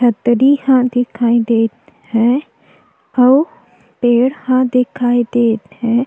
छतरी ह दिखाई देत है अउ पेड़ ह दिखाई देत है।